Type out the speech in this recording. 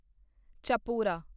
Chapora